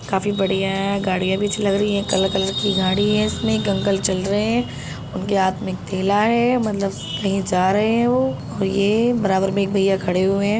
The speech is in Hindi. काफी बढ़ियाँ हैं। गाड़ियां भी पीछे लग रही हैं। कलर-कलर की गाड़ी हैं इसमें एक अंकल चल रहे हैं उनके हाथ में एक थैला है मतलब कही जा रहे हैं वो और ये बराबर में एक भईया खड़े हुए हैं।